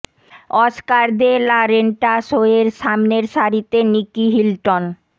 Oscar de la Renta show এর সামনে সারিতে নিকী হিলটন